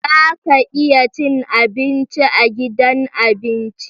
Za ka iya cin abinci a gidan abinci?